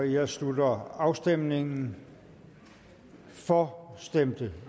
jeg slutter afstemningen for stemte